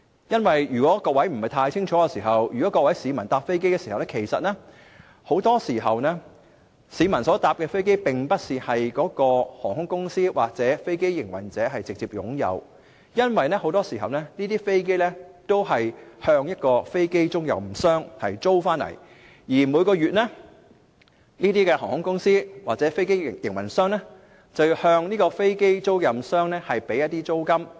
如果各位不是太清楚，即是說市民乘搭飛機時，他們乘搭的飛機大多數不是該航空公司或飛機營運者直接擁有，因為這些飛機都是向一間飛機出租商租借，而每個月這些航空公司或飛機營運者會向飛機出租商繳付租金。